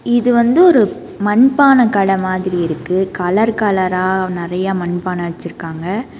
இது வந்து ஒரு மண்பான கட மாதிரி இருக்கு கலர் கலரா நெறைய மண்பான வச்சிருக்காங்க.